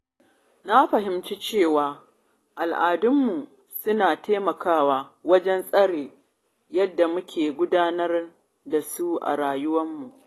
Na fahimci cewa al’adunmu suna taimakawa wajen tsara yadda muke gudanar da rayuwarmu.